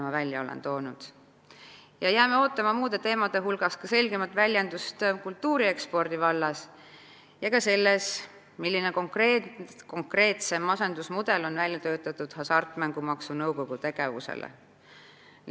Me jääme ootama muude ettevõtmiste hulgas ka selgemat väljendust kultuuri ekspordi vallas, samuti selgust, milline konkreetsem asendusmudel on välja töötatud Hasartmängumaksu Nõukogu tegevusele.